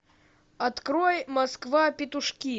открой москва петушки